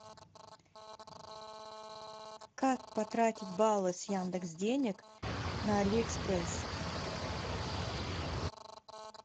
как потратить баллы с яндекс денег на али экспресс